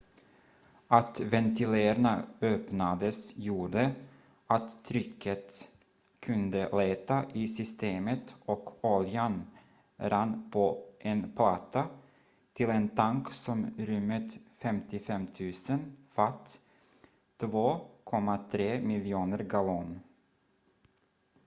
att ventilerna öppnades gjorde att trycket kunde lätta i systemet och oljan rann på en platta till en tank som rymmer 55 000 fat 2,3 miljoner gallon